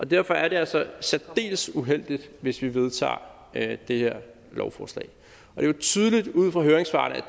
derfor er det altså særdeles uheldigt hvis vi vedtager det det her lovforslag det er jo tydeligt ud fra høringssvarene at